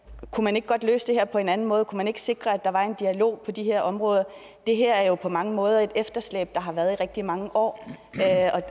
man ikke godt løse det her på en anden måde kunne man ikke sikre at der var en dialog på de her områder det her er jo på mange måder et efterslæb der har været i rigtig mange år